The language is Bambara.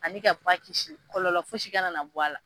Ani ka ba kisi kɔlɔlɔ fosi kana na bɔ a la.